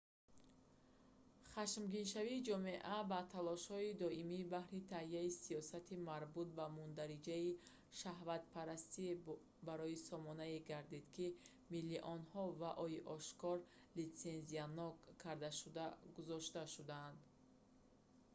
хашмгиншавии ҷомеа ба талошҳои доимӣ баҳри таҳияи сиёсати марбут ба мундариҷаи шаҳватпарастӣ барои сомонае гардид ки миллионҳо вао-и ошкоро литсензиянок кардашуда гузошта шудаанд